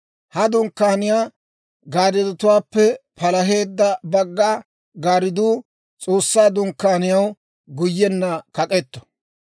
Ha dunkkaaniyaa gaarddotuwaappe palaheedda bagga gaardduu S'oossaa Dunkkaaniyaw guyyenna kak'k'eto.